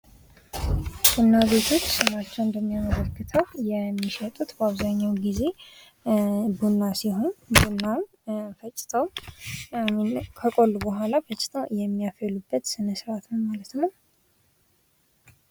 ቡና ቤቶች ስማቸው እንደሚያመለክተው የሚሸጡት በአብዛኛው ጊዜ ቡና ሲሆን ቡናን ከቆሎ በኋላ ፈጭተው የሚያፈሉበት ስነ ስርዓት ነው ማለት ነው ።